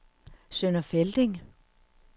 Sønder Felding